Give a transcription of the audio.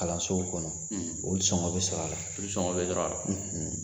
Kalansow kɔnɔ , o sɔngɔ be sɔrɔ a la. Olu sɔngɔ be sɔrɔ a la.